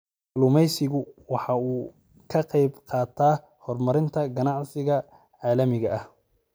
Kalluumaysigu waxa uu ka qayb qaataa horumarinta ganacsiga caalamiga ah.